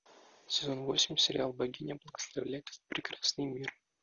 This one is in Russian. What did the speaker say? сезон восемь сериал богиня благословляет этот прекрасный мир